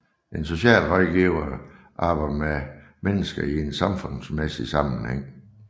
En socialrådgiver arbejder med mennesker i en samfundsmæssig sammenhæng